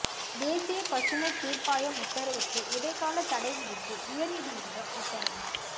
தேசிய பசுமைத் தீர்ப்பாயம் உத்தரவுக்கு இடைக்கால தடை விதித்து உயர்நீதிமன்றம் உத்தரவு